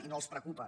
i no els preocupa